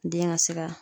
Den ka se ka